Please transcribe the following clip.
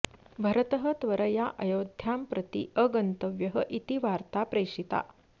भरतः त्वरया अयोध्यां प्रति अगन्तव्यः इति वार्ता प्रेषिता